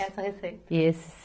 Essa receita. e esse